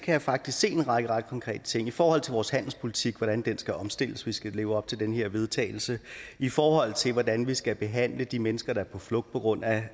jeg faktisk se en række ret konkrete ting i forhold til vores handelspolitik hvordan den skal omstilles hvis vi skal leve op til det her vedtagelse i forhold til hvordan vi skal behandle de mennesker der er på flugt på grund af